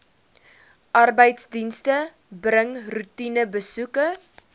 arbeidsdienste bring roetinebesoeke